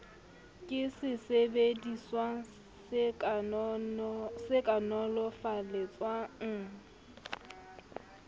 ke sesebediswa se ka nolofaletsang